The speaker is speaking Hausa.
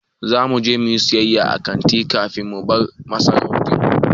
Za mu je mu yi sayayya a kanti kafin mu bar masaukin.